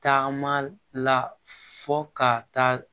Taama la fɔ ka taa